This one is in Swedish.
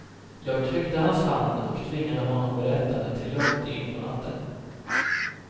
Jag tryckte hans hand och tvingade honom berätta till långt in på natten.